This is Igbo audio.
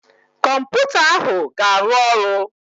Kọmputa ahụ ga-arụ ọrụ